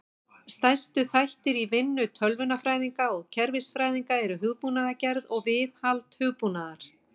Stærstu þættir í vinnu tölvunarfræðinga og kerfisfræðinga eru hugbúnaðargerð og viðhald hugbúnaðar.